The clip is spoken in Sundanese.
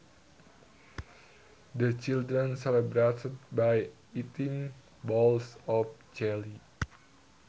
The children celebrated by eating bowls of jelly